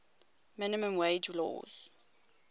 minimum wage laws